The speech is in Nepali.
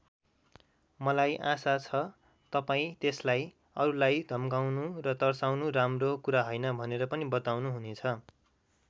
मलाई आशा छ तपाईँ त्यसलाई अरूलाई धम्काउनु र तर्साउनु राम्रो कुरा हैन भनेर पनि बताउनुहुनेछ।